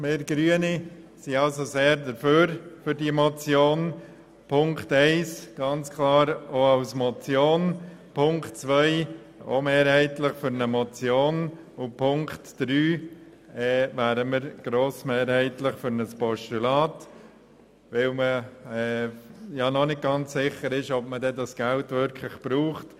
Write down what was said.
Wir Grünen sprechen uns für diese Motion aus, Punkt 1 nehmen wir ganz klar als Motion an, Punkt 2 auch mehrheitlich als Motion und Punkt 3 grossmehrheitlich als Postulat, weil man ja noch nicht ganz sicher ist, ob man das Geld auch braucht.